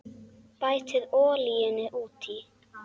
Bætið olíunni út í.